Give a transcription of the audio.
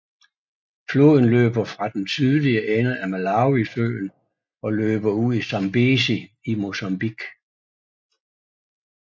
Floden løber fra den sydlige ende af Malawisøen og løber ud i Zambezi i Mozambique